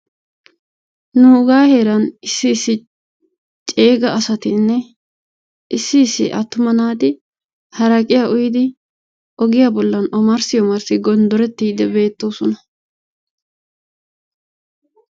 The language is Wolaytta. Nugaa heeran issi issi ceega asatinne issi issi attuma naati haraqiyaa ogiyaa bollan omarssi omarssi gondorettiidi beettoosona.